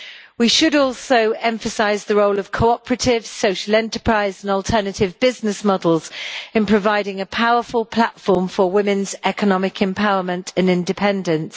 We should also emphasise the role of cooperatives, social enterprise and alternative business models in providing a powerful platform for women's economic empowerment and independence.